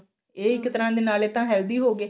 ਇਹ ਇੱਕ ਤਰ੍ਹਾਂ ਦੇ ਨਾਲੇ ਤਾਂ healthy ਹੋ ਗਏ